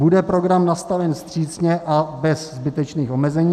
Bude program nastaven vstřícně a bez zbytečných omezení?